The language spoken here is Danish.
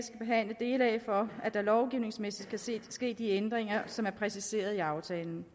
for at der lovgivningsmæssigt kan ske de ændringer som er præciseret i aftalen